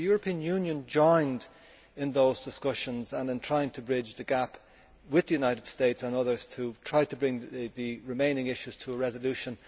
Has the European Union joined in those discussions in trying to bridge the gap with the United States and others to try to bring the remaining issues to a resolution?